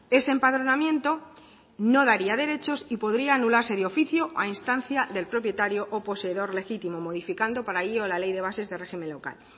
ese empadronamiento no daría derechos y podría anularse de oficio a instancia del propietario o poseedor legítimo modificando para ello la ley de bases de régimen local